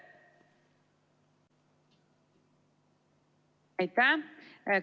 Aitäh!